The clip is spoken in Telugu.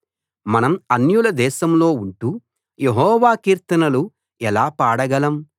మనం అన్యుల దేశంలో ఉంటూ యెహోవా కీర్తనలు ఎలా పాడగలం